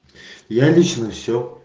я лично все